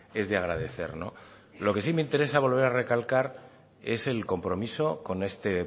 es de agradecer lo que sí me interesa volver a recalcar es el compromiso con este